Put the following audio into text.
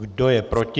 Kdo je proti?